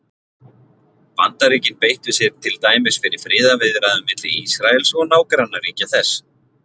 Bandaríkin beittu sér til dæmis fyrir friðarviðræðum milli Ísraels og nágrannaríkja þess.